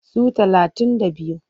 Su talatun da biyu.